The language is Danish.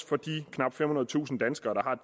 for de knap femhundredetusind danskere